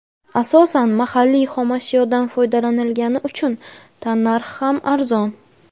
Asosan mahalliy xomashyodan foydalanilgani uchun tannarxi ham arzon.